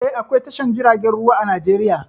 Eh, akwao tashar jiragen ruwa a Najeriya.